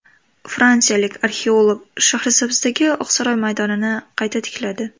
Fransiyalik arxeolog Shahrisabzdagi Oqsaroy maydonini qayta tikladi.